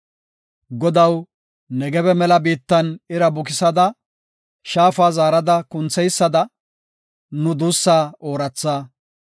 Godaw, Negebe mela biittan ira bukisada, shaafa zaarada kuntheysada, nu duussa ooratha.